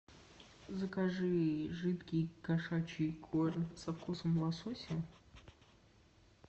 закажи жидкий кошачий корм со вкусом лосося